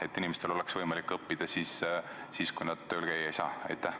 Et inimestel oleks võimalik õppida siis, kui nad tööl käia ei saa?